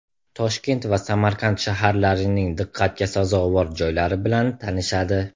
Toshkent va Samarqand shaharlarining diqqatga sazovor joylari bilan tanishadi.